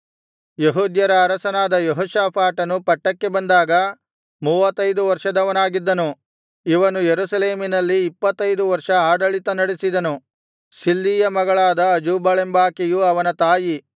ಯೆಹೂದ್ಯರ ಅರಸನಾದ ಯೆಹೋಷಾಫಾಟನು ಪಟ್ಟಕ್ಕೆ ಬಂದಾಗ ಮೂವತ್ತೈದು ವರ್ಷದವನಾಗಿದ್ದನು ಇವನು ಯೆರೂಸಲೇಮಿನಲ್ಲಿ ಇಪ್ಪತ್ತೈದು ವರ್ಷ ಆಡಳಿತ ನಡೆಸಿದನು ಶಿಲ್ಹಿಯ ಮಗಳಾದ ಅಜೂಬಳೆಂಬಾಕೆಯು ಅವನ ತಾಯಿ